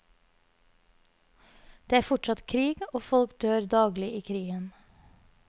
Det er fortsatt krig, og folk dør daglig i krigen.